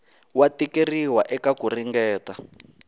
wa tikeriwa eka ku ringeta